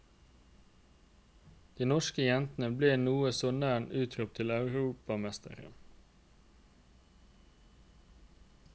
De norske jentene ble noe så nær utropt til europamestere.